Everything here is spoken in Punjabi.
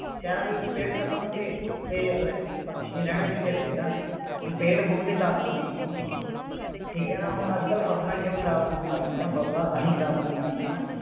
ਸ਼ਹਿਰਾਂ ਦੇ ਵਿਚ ਪੇੜ ਖਤਮ ਹੋ ਗਏ ਤੇ ਪਕਸ਼ੀ ਨੇ ਰਹਿਣਾ ਕਿਥੇ ਹੈ ਪੇੜਾਂ ਤੇ ਹੁਣ ਪੇੜ ਹੋਣਗੇ ਤਾਂ ਪੰਛੀ ਹੋਣਗੇ ਠੀਕ ਹੈ ਨਾ ਹੁਣ ਅਜਕਲ ਫਸਲਾਂ ਕਿਓਂ ਖਰਾਬ ਹੋਣ ਲੱਗ ਗਈਆਂ ਫਸਲਾਂ ਤਾਂਹੀ ਖਰਾਬ ਹੋਣ ਲੱਗ ਗਿਆ।